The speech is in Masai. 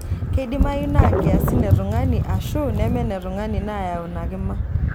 Keidimayu naa nkiasin e tungani aashu neme netungani naayau ina kima.